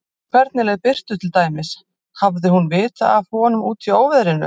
Hvernig leið Birtu til dæmis, hafði hún vitað af honum úti í óveðrinu?